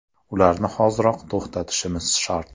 Ularni hoziroq to‘xtatishimiz shart.